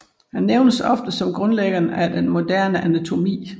Han nævnes ofte som grundlæggeren af den moderne anatomi